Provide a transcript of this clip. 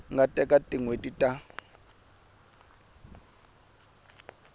nga teka tin hweti ta